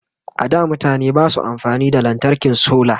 a da mutane Basu amfani da lantarkin solar